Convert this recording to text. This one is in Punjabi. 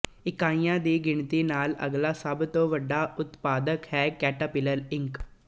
ਇਕਾਈਆਂ ਦੀ ਗਿਣਤੀ ਨਾਲ ਅਗਲਾ ਸਭ ਤੋਂ ਵੱਡਾ ਉਤਪਾਦਕ ਹੈ ਕੈਟੇਰਪਿਲਰ ਇੰਕ